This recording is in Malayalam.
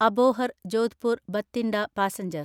അബോഹർ ജോധ്പൂർ ബത്തിണ്ട പാസഞ്ചർ